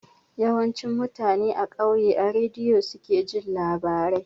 Yawanci mutane a kauye a rediyo suke jin labarai